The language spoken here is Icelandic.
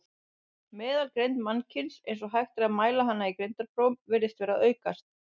Meðalgreind mannkyns, eins og hægt er að mæla hana í greindarprófum, virðist vera að aukast.